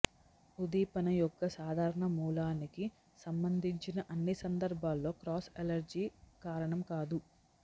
ఉద్దీపన యొక్క సాధారణ మూలానికి సంబంధించిన అన్ని సందర్భాల్లో క్రాస్ అలెర్జీ కారణం కాదు